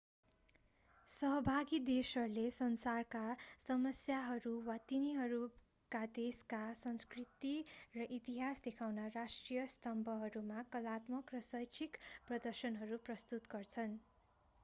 सहभागी देशहरूले संसारका समस्याहरू वा तिनीहरूका देशका संस्कृति र इतिहास देखाउन राष्ट्रिय स्तम्भहरूमा कलात्मक र शैक्षिक प्रदर्शनहरू प्रस्तुत गर्छन्